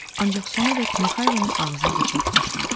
Ancaq sonadək Mixaylonun ağzını bıçaq açmadı.